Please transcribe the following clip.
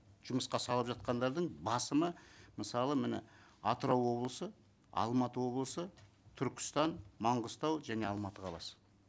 жұмысқа салып жатқандардың басымы мысалы міне атырау облысы алматы облысы түркістан маңғыстау және алматы қаласы